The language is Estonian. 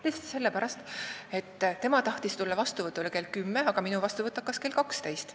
Tõesti sellepärast, et keegi tahtis vastuvõtule tulla näiteks kell 10, aga minu vastuvõtt hakkas kell 12.